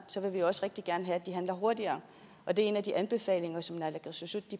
handler hurtigere og det er en af de anbefalinger som naalakkersuisut